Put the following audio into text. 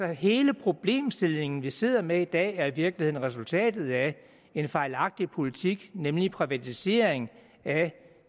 hele den problemstilling vi sidder med i dag er altså i virkeligheden resultatet af en fejlagtig politik nemlig privatiseringen af